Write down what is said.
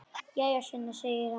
Jæja, Sunna, segir hann.